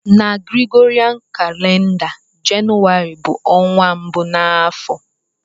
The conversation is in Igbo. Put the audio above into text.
Na Gregorian calender, Jenụwarị bu onwa mbu na afo.